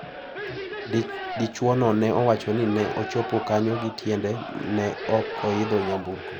Dichwono ne owacho ni ne ochopo kanyo gi tiende ne ok oyidho nyamburko.